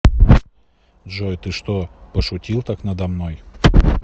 джой ты что пошутил так надо мной